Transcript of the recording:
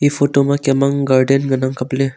photo ma Kem ang garden ngan ang kapley.